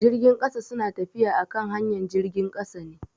Jirgin kasa su na tafiya akan hanyar jirgin kasa ne.